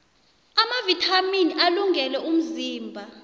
amavithamini alungele umzimba